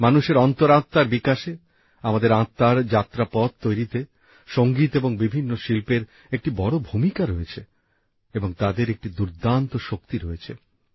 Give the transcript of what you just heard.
মানুষের অন্তরাত্মার বিকাশে আমাদের আত্মার যাত্রাপথ তৈরিতে সঙ্গীত এবং বিভিন্ন শিল্পের একটি বড় ভূমিকা রয়েছে এবং তাদের একটি দুর্দান্ত শক্তি রয়েছে